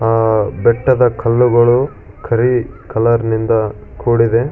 ಆ ಬೆಟ್ಟದ ಕಲ್ಲುಗಳು ಕರಿ ಕಲರನಿಂದ ಕೂಡಿದೆ.